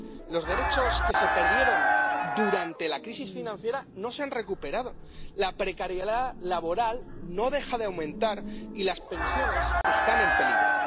Los derechos que se perdieron durante la crisis financiera no se han recuperado, la precariedad laboral no deja de aumentar y las pensiones están en peligro.